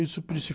Isso